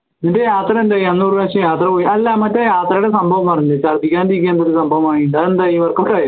നിൻറെ യാത്ര എന്തായി അന്ന് ഒരു പ്രാവശ്യം യാത്ര പോയി അല്ല മറ്റേ യാത്രയുടെ സംഭവം പറ അതെന്തായി work out ആയോ